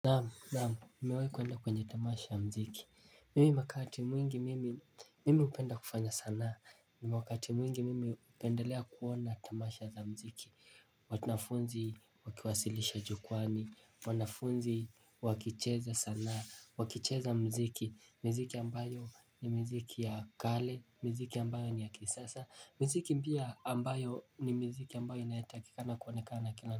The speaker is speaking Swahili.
Naam naam nimewahi kuenda kwenye tamasha ya mziki mimi wakati mwingi mimi hupenda kufanya sanaa wakati mwingi mimi hupendelea kuona tamasha za mziki. Wanafunzi wakiwasilisha jukwaani wanafunzi wakicheza sanaa wakicheza mziki miziki ambayo ni miziki ya kale miziki ambayo ni ya kisasa miziki pia ambayo ni miziki ambayo inayotakikana kuonekana na kila.